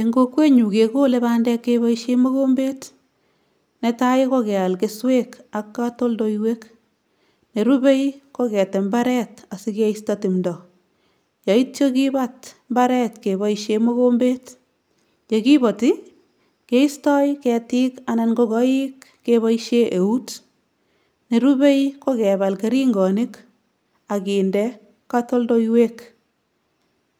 Eng kokwenyu kekole bandek keboisie mokombet, netai ko keal kesweek ak katoldoiwek, nerubei ko ketem mbaret asi keisto timdo, yaityo kibat mbaret keboisie mokombet, ye kiboti keisto ketik anan ko koik keboisie eut, nerubei ko kebal keringonik ak kinde katoldoiwek,